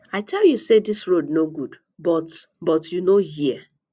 i tell you say dis road no good but but you no hear